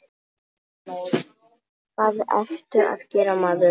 Hvað ertu að gera, maður?